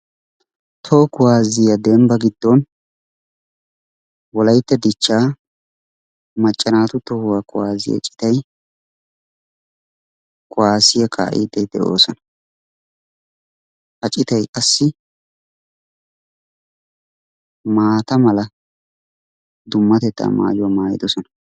Toho kuwaazziya dembba giddon wolayitta dichchaa macca naatu tohuwa kuwaasiya citay kuwaasiya kaa"iiddi de"oosona. Ha citay qassi maata mala dummatetaa maayuwa maayidosona.